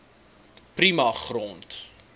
prima grond